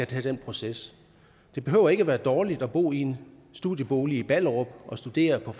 tage den proces det behøver ikke at være dårligt at bo i en studiebolig i ballerup og studere på